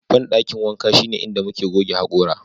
bandakin wanka shine inda muke goge hakora